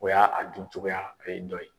O ya a dun cogoya ,o ye dɔ ye.